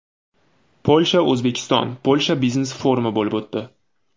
Polsha O‘zbekiston-Polsha biznes-forumi bo‘lib o‘tdi.